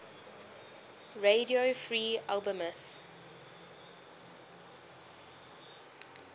radio free albemuth